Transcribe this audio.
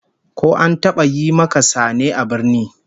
Ko an taba yi maka sane a birni?